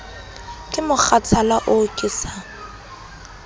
ke mokgathala oo ke sa